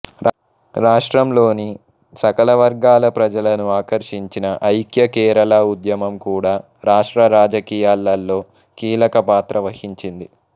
రాష్ట్రంలోని సకలవర్గాల ప్రజలను ఆకర్షించిన ఐఖ్య కేరళ ఉద్యమం కూడా రాష్ట్ర రాజకీయాలలో కీలక పాత్ర వహించింది